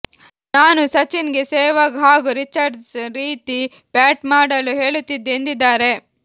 ನಾನು ಸಚಿನ್ ಗೆ ಸೆಹ್ವಾಗ್ ಹಾಗೂ ರಿಚರ್ಡ್ಸ್ ರೀತಿ ಬ್ಯಾಟ್ ಮಾಡಲು ಹೇಳುತ್ತಿದ್ದೆ ಎಂದಿದ್ದಾರೆ